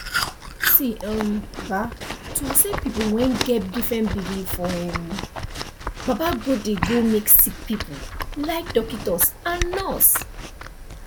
see um um to accept people wen get different belief for um baba godey go make sick people like dockitos and nurse